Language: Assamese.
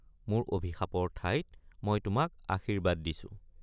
মোৰ অভিশাপৰ ঠাইত মই তোক আশীৰ্ব্বাদ দিছো।